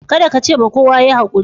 Kadda ka ce ma kowa" Yi hakuri."